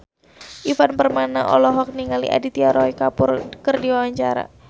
Ivan Permana olohok ningali Aditya Roy Kapoor keur diwawancara